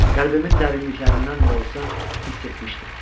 Qəlbimin dərinliklərindən də olsa, hiss etmişdim.